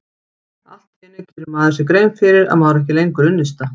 Allt í einu gerir maður sér grein fyrir að maður á ekki lengur unnusta.